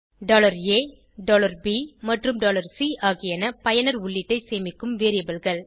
a b மற்றும் c ஆகியன பயனர் உள்ளீட்டை சேமிக்கும் variableகள்